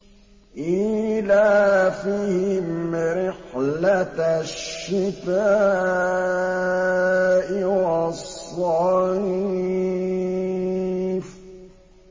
إِيلَافِهِمْ رِحْلَةَ الشِّتَاءِ وَالصَّيْفِ